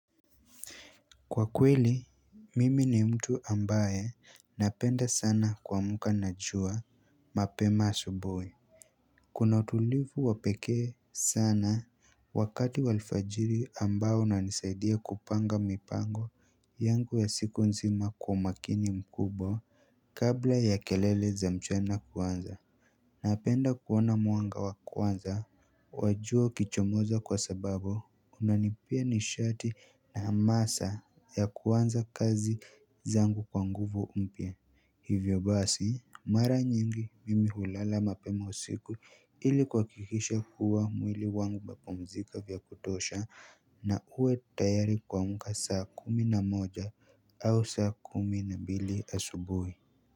Kwa kweli, mimi ni mtu ambaye napenda sana kuamka na jua mapema asubuhi. Kuna utulivu wapekee sana wakati wa alfajiri ambao unanisaidia kupanga mipango yangu ya siku nzima kwa makini mkubwa kabla ya kelele za mchana kuanza. Napenda kuona mwanga wakwanza wajua ukichomoza kwa sababu unanipea nishati na hamasa ya kuanza kazi zangu kwa nguvu mpya hivyo basi Mara nyingi mimi hulala mapema usiku ili kuhakikisha kuwa mwili wangu umepumzika vyakutosha na uwe tayari kuamka saa kumi na moja au saa kumi na mbili asubuhi.